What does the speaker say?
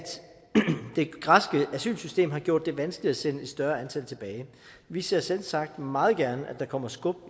det græske asylsystem har gjort det vanskeligt at sende et større antal tilbage vi ser selvsagt meget gerne at der kommer skub